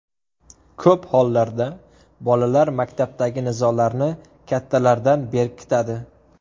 Ko‘p hollarda bolalar maktabdagi nizolarni kattalardan berkitadi.